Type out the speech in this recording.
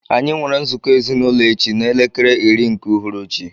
Anyi nwere nzụkọ ezinaụlọ echi na elekere iri nke ụhụrụchị.